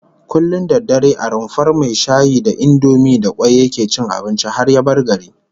Kullum da dare a rumfar mai shayi da indomi da kwai yake cin abinci har ya bar garin